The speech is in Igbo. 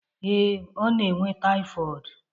Ee,ọ na enwe taifọọd.